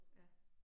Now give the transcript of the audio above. Ja